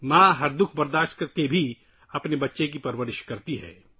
ماں ہر دکھ سہنے کے بعد بھی اپنے بچے کا خیال رکھتی ہے